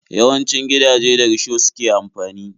Yawancin gidaje da risho suke amfani.